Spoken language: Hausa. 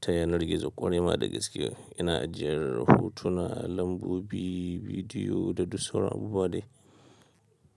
ta yanar gizo ƙwarai ma da gaske. Ina ajiyar hotuna, lambobi, bidiyo da du soran abubuwa dai.